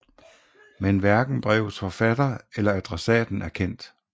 Men hverken brevets forfatter eller adressaten er kendt